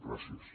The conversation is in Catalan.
gràcies